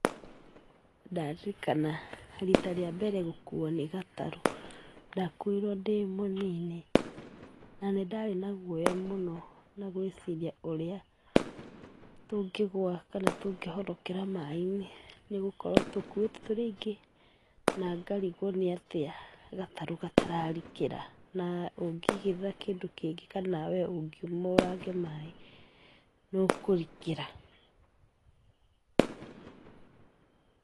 Ndaririkana rita rĩa mbere gũkuo nĩ gatarũ, ndakuirwo ndĩ mũnini, na nĩ ndarĩ na guoya mũno na gũĩciria ũrĩa tũngĩgũa kana tũngĩhorokera maĩ-inĩ, nĩgũkorwo tũkuwĩtwo tũrĩ aingĩ na ngarigwo nĩatĩa gatarũ gatararikĩra, na ũngĩgũtha kĩndũ kĩngĩ kana nawe ũngiuma ũrange maĩ no kũrikĩra.